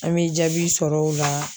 An bɛ jaabi sɔrɔ o la